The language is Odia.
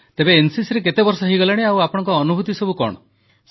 ତେବେ ଏନସିସିରେ କେତେ ବର୍ଷ ହେଇଗଲାଣି ଆଉ ଆପଣଙ୍କ ଅନୁଭୂତି କଣ